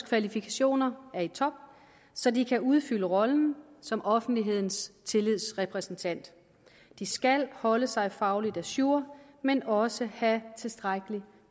kvalifikationer er i top så de kan udfylde rollen som offentlighedens tillidsrepræsentant de skal holde sig fagligt ajour men også have tilstrækkelig med